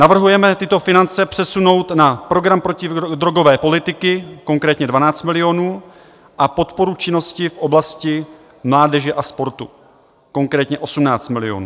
Navrhujeme tyto finance přesunout na program protidrogové politiky, konkrétně 12 milionů, a podporu činnosti v oblasti mládeže a sportu, konkrétně 18 milionů.